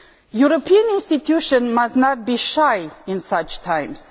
European institutions must not be shy at such times.